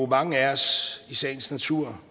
mange af os i sagens natur